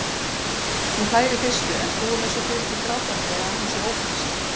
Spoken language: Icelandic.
Hún hlær í fyrstu, en trúir mér svo fyrir því grátandi, að hún sé ófrísk.